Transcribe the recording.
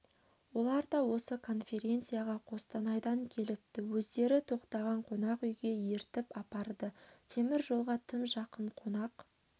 олар да осы конференцияға қостанайдан келіпті өздері тоқтаған қонақ үйге ертіп апарды темір жолға тым жақын қонақ